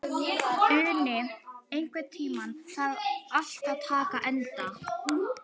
Uni, einhvern tímann þarf allt að taka enda.